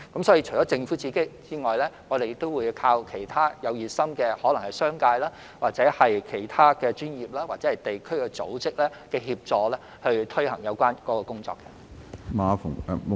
所以，除政府外，我們亦會依靠其他熱心的商界、其他專業或地區組織的協助，推行有關工作。